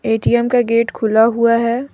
ATM का gate खुला हुआ है।